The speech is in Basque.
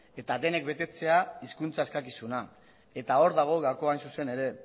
eta denek betetzea hizkuntza eskakizuna eta hor dago gakoa hain zuzen ere